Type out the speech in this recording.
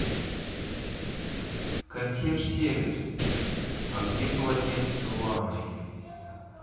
консьерж сервис а где полотенце в ванной